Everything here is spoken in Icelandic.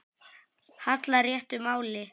hallar réttu máli.